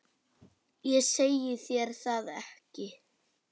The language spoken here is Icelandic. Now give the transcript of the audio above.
Ég segi þér það ekki.